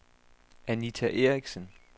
Anita Eriksen